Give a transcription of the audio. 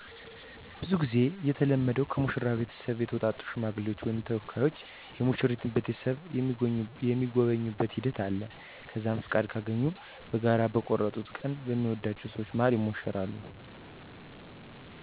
ብዙ ጊዜ የተለመደዉ ከሙሽራው ቤተሰብ የተውጣጡ ሽማግሌዎች ወይም ተወካዮች የሙሽራይቱን ቤተሰብ የሚጎበኙበት ሂደት አለ። ከዛም ፍቃድ ካገኙ በጋራ በቆርጡት ቀን በሚወድአቸው ሰወች መሀል ይሞሸራሉ።